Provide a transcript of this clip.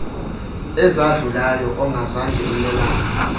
ezadlulayo ongazange umelane